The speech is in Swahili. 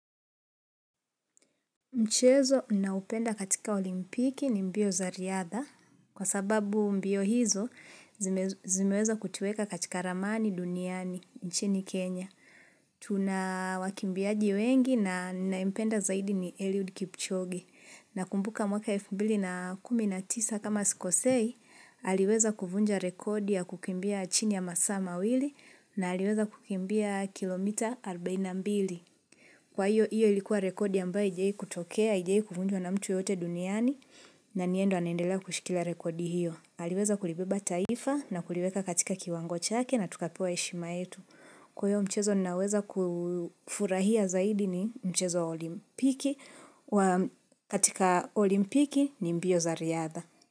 Mchezo ninaupenda katika olimpiki ni mbio za riadha, kwa sababu mbio hizo zimeweza kutuweka katika ramani duniani, nchini Kenya. Tuna wakimbiaji wengi na ninaipenda zaidi ni Eliud Kipchoge. Nakumbuka mwaka 2019 kama sikosei, aliweza kuvunja rekodi ya kukimbia chini ya masaa ma wili na aliweza kukimbia kilomita 42. Kwa hiyo, hiyo ilikuwa rekodi ambayo haijawahi kutokea, haijawahi kuvunjwa na mtu yote duniani, na ni yeye ndo anendela kushikila rekodi hiyo. Aliweza kulibeba taifa na kuliweka katika kiwango cha ake na tukapewa heshima yetu. Kwa hiyo mchezo ninaweza kufurahia zaidi ni mchezo olimpiki, katika olimpiki ni mbio za riadha.